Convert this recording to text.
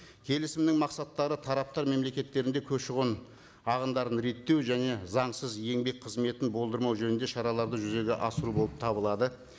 келісімнің мақсаттары тараптар мемлекеттерінде көші қон ағымдарын реттеу және заңсыз еңбек қызметін болдырмау жөнінде шараларды жүзеге асыру болып табылады